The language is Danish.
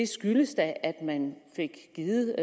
skyldes da at man fik givet